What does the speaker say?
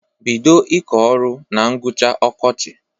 Bido ịkọ ọrụ a na ngwụcha ọkọchị!